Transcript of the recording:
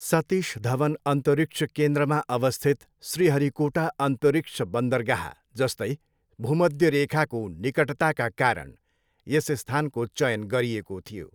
सतीश धवन अन्तरिक्ष केन्द्रमा अवस्थित श्रीहरिकोटा अन्तरिक्ष बन्दरगाह जस्तै भूमध्यरेखाको निकटताका कारण यस स्थानको चयन गरिएको थियो।